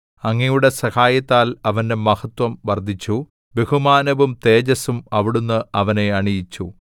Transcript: അങ്ങയുടെ സഹായത്താൽ അവന്റെ മഹത്വം വർദ്ധിച്ചു ബഹുമാനവും തേജസ്സും അവിടുന്ന് അവനെ അണിയിച്ചു